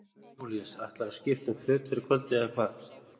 Jón Júlíus: Ætlarðu að skipta um föt fyrir kvöldið eða hvað?